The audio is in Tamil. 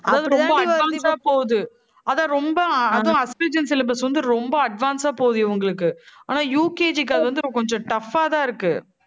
அதாவது ரொம்ப advance ஆ போகுது. அதான் ரொம்ப அதுவும் astragen syllabus வந்து, ரொம்ப advance ஆ போகுது, இவங்களுக்கு ஆனா UKG க்கு அது வந்து கொஞ்சம் tough ஆ தான் இருக்கு.